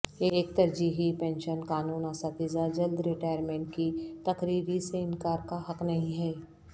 ایک ترجیحی پنشن قانون اساتذہ جلد ریٹائرمنٹ کی تقرری سے انکار کا حق نہیں ہے